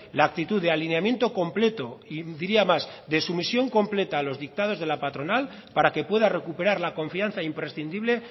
la actitud de alineamiento completo y diría más de sumisión completa a los dictados de la patronal para que pueda recuperar la confianza imprescindible